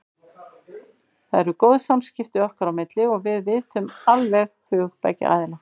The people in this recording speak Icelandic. Það eru góð samskipti okkar á milli og við vitum alveg hug beggja aðila.